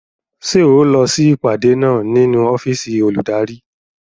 Ṣé ẹ ó lọ sí ìpàdé náà nínú ọ́fìsì olùdarí